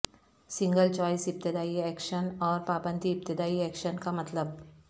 single choice ابتدائی action اور پابندی ابتدائی ایکشن کا مطلب